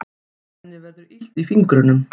Henni verður illt í fingrunum.